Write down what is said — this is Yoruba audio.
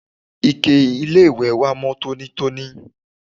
ike-iléwẹ̀ wa mọ́ tónítóní